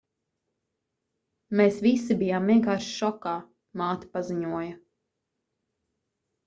mēs visi bijām vienkārši šokā māte paziņoja